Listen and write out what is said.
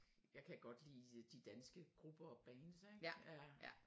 Jeg kan godt lide de danske grupper og bands ik